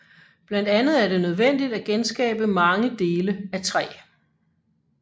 Blandt andet er det nødvendigt at genskabe mange dele af træ